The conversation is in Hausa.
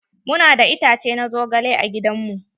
Mu na da itace na zogale a gidan mu.